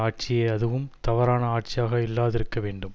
ஆட்சியே அதுவும் தவறான ஆட்சியாக இல்லாதிருக்க வேண்டும்